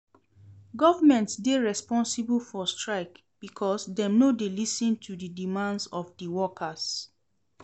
Government dey responsible for strike because dem no dey lis ten to di demands of di workers.